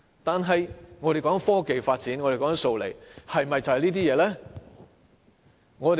但是，我們所說的科技發展和"數理"，是否就只是這些東西呢？